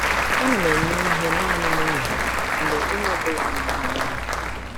Ana m eme ihe naanị nehihie mgbe onye ọ bụla na-amụ anya.